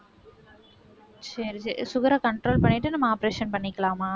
சரி சரி sugar அ control பண்ணிட்டு நம்ம operation பண்ணிக்கலாமா